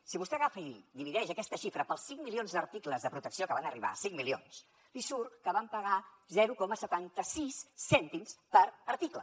si vostè agafa i divideix aquesta xifra pels cinc milions d’articles de protecció que van arribar cinc milions li surt que vam pagar zero coma setanta sis cèntims per article